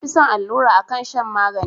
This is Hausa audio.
Na fi son allura akan shan magani